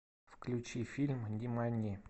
включи фильм нимани